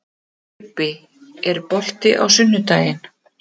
Leibbi, er bolti á sunnudaginn?